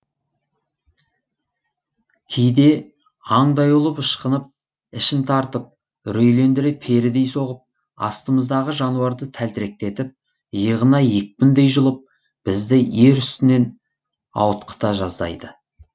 кейде аңдай ұлып ышқынып ішін тартып үрейлендіре перідей соғып астымыздағы жануарды тәлтіректетіп иығынан екпіндей жұлып бізді ер үстінен ауытқыта жаздайды